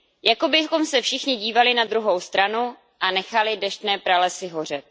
Jako bychom se všichni dívali na druhou stranu a nechali deštné pralesy hořet.